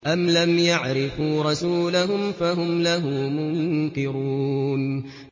أَمْ لَمْ يَعْرِفُوا رَسُولَهُمْ فَهُمْ لَهُ مُنكِرُونَ